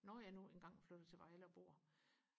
når jeg nu engang flytter til Vejle og bor